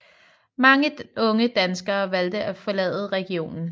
Mange unge danskere valgte at forlade regionen